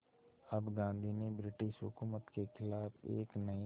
अब गांधी ने ब्रिटिश हुकूमत के ख़िलाफ़ एक नये